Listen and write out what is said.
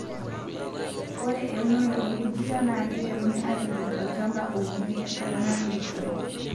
Ore eunore orkujita naakeiteruni aitobir olchampa ounieki tenkata natoyio enkop.